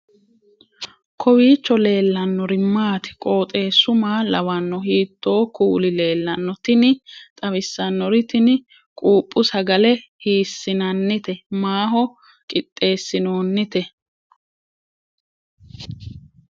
kowiicho leellannori maati ? qooxeessu maa lawaanno ? hiitoo kuuli leellanno ? tini xawissannori tini quuphu sagale hiissinannite maaho qixxeessinoonnite